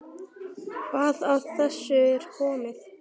Hvað af þessu er komið?